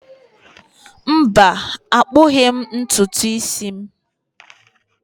Mba, akpughi m ntutu isi m.